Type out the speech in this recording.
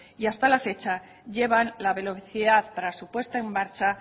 y hasta la fecha llevan la velocidad para su puesta en marcha